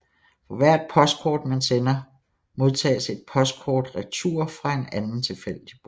For hvert postkort man sender modtages et postkort i retur fra en anden tilfældig bruger